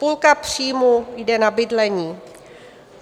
Půlka příjmů jde na bydlení.